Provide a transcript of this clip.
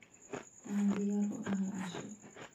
Waxaan diyaar u ahay casho